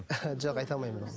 жоқ айта лмаймын мен оны